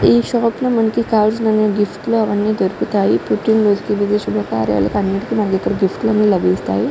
ఈ షాప్ లో మనకి కావాల్సిన గిఫ్ట్ లు అవన్నీ దొరుకుతాయి. పుట్టినరోజులకు శుభకార్యాలకు అన్నిటికీ ఇక్కడ గిఫ్ట్ లు లభిస్తాయి.